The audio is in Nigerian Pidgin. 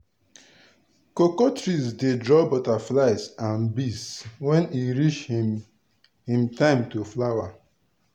cocoa trees dey draw butterflies and bees when e reach him him time to flower.